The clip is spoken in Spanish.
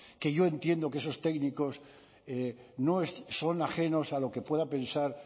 que yo entiendo que esos técnicos no son ajenos a lo que pueda pensar